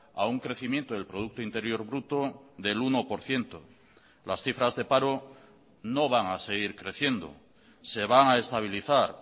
a un crecimiento del producto interior bruto del uno por ciento las cifras de paro no van a seguir creciendo se van a estabilizar